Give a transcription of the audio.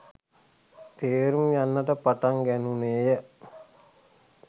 තේරුම් යන්නට පටන් ගැනුණේ ය.